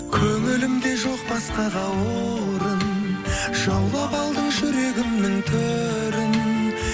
көңілімде жоқ басқаға орын жаулап алдың жүрегімнің төрін